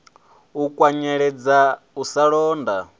u kwanyeledza u sa londola